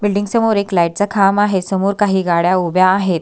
Building समोर एक light चा खांब आहे समोर काही गाड्या उभ्या आहेत.